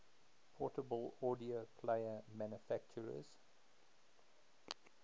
portable audio player manufacturers